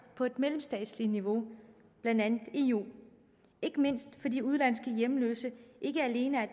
på mellemstatsligt niveau blandt andet i eu ikke mindst fordi udenlandske hjemløse ikke alene er